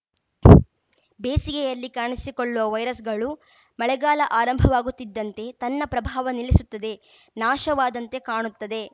ಬೇಸಿಗೆಯಲ್ಲಿ ಕಾಣಿಸಿಕೊಳ್ಳುವ ವೈರಸ್‌ಗಳು ಮಳೆಗಾಲ ಆರಂಭವಾಗುತ್ತಿದ್ದಂತೆ ತನ್ನ ಪ್ರಭಾವ ನಿಲ್ಲಿಸುತ್ತದೆ ನಾಶವಾದಂತೆ ಕಾಣುತ್ತದೆ